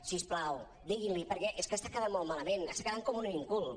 si us plau diguin·li perquè és que està quedant molt mala·ment està quedant com un inculte